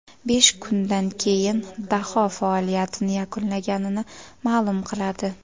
Besh kundan keyin daho faoliyatini yakunlaganini ma’lum qiladi.